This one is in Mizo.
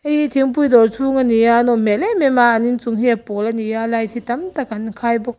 hei hi thingpui dawr chhung ani a a nawm hmel em em a an inchung hi a pawl ani a light hi tam tak an khai bawk a.